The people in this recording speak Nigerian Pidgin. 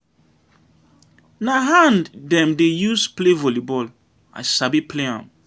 Na hand dem dey use play vollyball, I sabi play am.